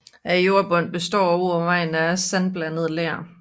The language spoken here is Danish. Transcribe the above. Jordbunden består overvejende af sandblandet ler